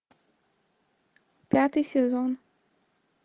пятый сезон